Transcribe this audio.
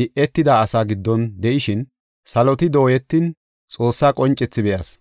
di7etida asaa giddon de7ishin saloti dooyetin, Xoossaa qoncethi be7as.